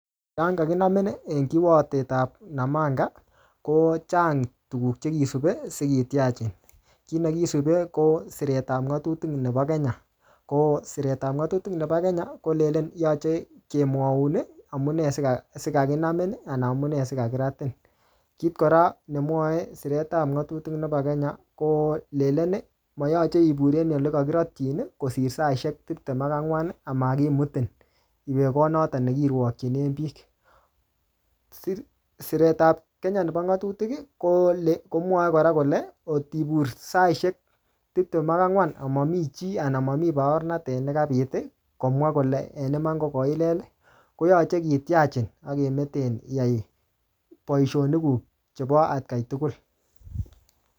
Yan kakinamin, en kiwotetab namanga, ko chang tuguk che kisube sikitiachin. Kiy nekisube, ko siret ap ngatutik nebo Kenya, ko siret ap ngatutik nebo Kenya, kolenden yache kemwaun amunee sika-sikakinamin, anan amunee sikakiratin. Kit kora nemwa siret ap ngatutik nebo Kenya, ko lelen mayache ibur en ole kakirotchin, kosir saishek tiptem ak angwan, amakimutin iwee kot notok ne kirwokchinen biik. Siret ap Kenya nebo ngatutik, kole, komwae kora kole, kotibur saishek tiptem ak angwan amamii chiii, anan mami baornatet nekabit komwa kole en iman ko koilel, koyache kityachin, akemeten iyai boisonik kuk chebo atkai tugul.